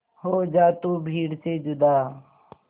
हो जा तू भीड़ से जुदा